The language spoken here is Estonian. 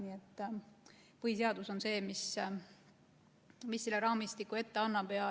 Nii et põhiseadus on see, mis selle raamistiku ette annab.